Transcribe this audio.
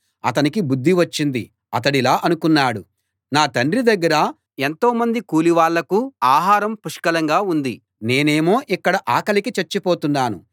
అతనికి బుద్ధి వచ్చింది అతడిలా అనుకున్నాడు నా తండ్రి దగ్గర ఎంతోమంది కూలి వాళ్ళకు ఆహారం పుష్కలంగా ఉంది నేనేమో ఇక్కడ ఆకలికి చచ్చిపోతున్నాను